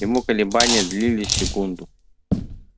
ему колебания длились секунду